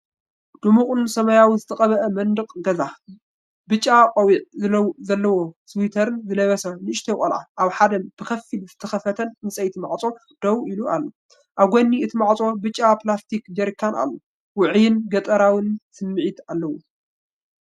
ድሙቕ ሰማያዊ ዝተቐብአ መንደቕ ገዛ። ብጫ ቆቢዕ ዘለዎ ስዊተርን ዝለበሰ ንእሽቶ ቆልዓ ኣብ ሓደ ብኸፊል ዝተኸፍተ ዕንጨይቲ ማዕጾ ደው ኢሉ ኣሎ። ኣብ ጎኒ እቲ ማዕጾ ብጫ ፕላስቲክ ጀሪካን ኣሎ። ውዑይን ገጠራዊን ስምዒት ኣለዎ!